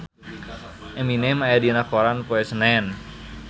Eminem aya dina koran poe Senen